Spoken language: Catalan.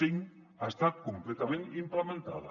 cinc ha estat completament implementada